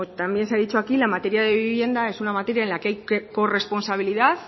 también se ha dicho aquí la materia de vivienda es una materia en la que hay corresponsabilidad